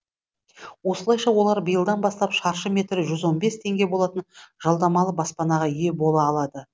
осылайша олар биылдан бастап шаршы метрі жүз он бес теңге болатын жалдамалы баспанаға ие бола алады